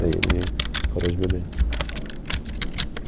Daí ele parou de beber.